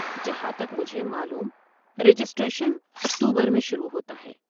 جہاں تک مجھے معلوم رجسٹریشن اکتوبر میں شروع ہوتا ہے۔